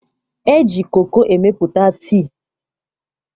E ji koko emepụta tii.